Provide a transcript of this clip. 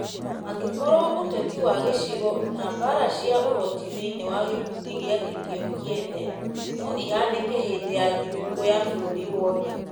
angĩkorwo ũteti wa gĩcigo na mbaara cia ũhoti thĩinĩ wa gĩkundi gĩake kĩo kĩene no ihanĩkĩ hĩndĩ ya thigũkũ ya bũrũri wothe.